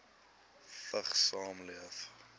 vigs saamleef